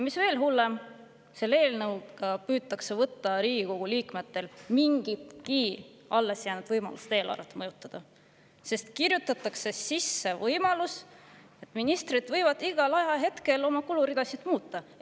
Mis veel hullem, selle eelnõuga püütakse võtta Riigikogu liikmetelt mingigi alles jäänud võimalus eelarvet mõjutada, sest kirjutatakse sisse võimalus, et ministrid võivad igal ajahetkel oma kuluridasid muuta.